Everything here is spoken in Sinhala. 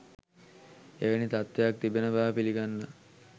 එවැනි තත්වයක් තිබෙන බව පිළිගන්නා